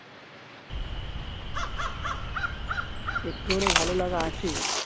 একটু হলেও ভালো লাগা আছে